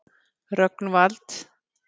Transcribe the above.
Rögnvald